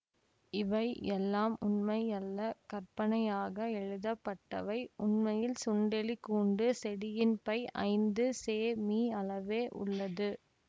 இவை எல்லாம் உண்மையல்ல கற்பனையாக எழுதப்பட்டவை உண்மையில் சுண்டெலிக்கூண்டு செடியின் பை ஐந்து செமீ அளவே உள்ளது